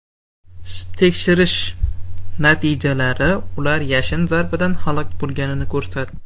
Tekshirish natijalari ular yashin zarbidan halok bo‘lganini ko‘rsatdi.